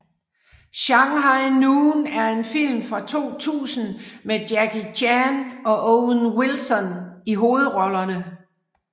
Shanghai Noon er en film fra 2000 med Jackie Chan og Owen Wilson i hovedrollerne